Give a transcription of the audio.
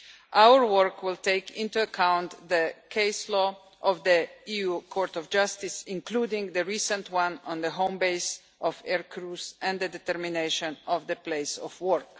Our work will take into account the case law of the EU Court of Justice, including the recent one on the home base of air crews and the determination of the place of work.